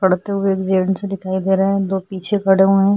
पढ़ते हुए जेंट्स भी दिखाई दे रहे हैं दो पीछे खड़े हुए हैं।